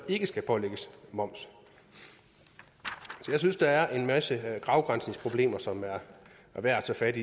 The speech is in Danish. ikke skal pålægges moms så jeg synes der er en masse afgrænsningsproblemer som er værd at tage fat